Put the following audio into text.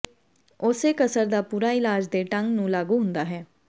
ਉਸੇ ਕਸਰ ਦਾ ਪੂਰਾ ਇਲਾਜ ਦੇ ਢੰਗ ਨੂੰ ਲਾਗੂ ਹੁੰਦਾ ਹੈ